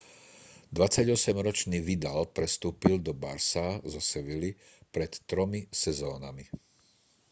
28-ročný vidal prestúpil do barça zo sevilly pred tromi sezónami